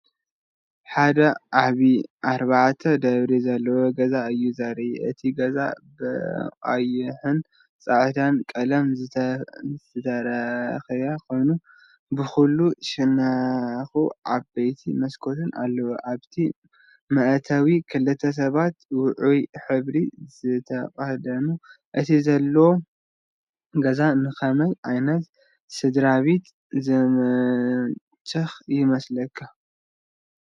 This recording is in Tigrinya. ሓደ ዓቢ ኣርባዕተ ደብሪ ዘለዎ ገዛ እዩ ዘርኢ። እቲ ገዛ ብቐይሕን ጻዕዳን ቀለም ዝተለኽየ ኮይኑ፡ ብኹሉ ሸነኹ ዓበይቲ መስኮታት ኣለዎ። ኣብቲ መእተዊ ክልተ ሰባት ውዑይ ሕብሪ ዝተኸድኑ። እቲ ዘሎ ገዛ ንኸመይ ዓይነት ስድራቤት ዝምችእ ይመስለካ?